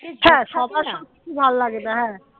ভাল্লাগেনা হ্যাঁ